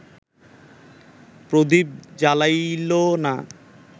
প্রদীপ জ্বালাইল না